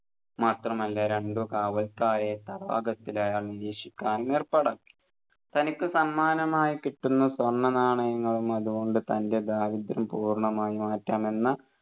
മാത്രമല്ല രണ്ട് കാവൽക്കാരെ തടാകത്തിൽ അയാൾ നിരീക്ഷിക്കാൻ ഏർപ്പാടാക്കി തനിക്ക് സമ്മാനമായി കിട്ടുന്ന സ്വർണ്ണനാണയങ്ങളും അതുകൊണ്ട് തൻെറ ദാരിദ്ര്യം പൂർണമായി മാറ്റാമെന്ന്